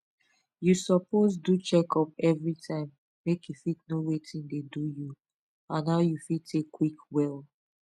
you suppose do checkup everytime make you fit know watin dey do you and how you fit take quick well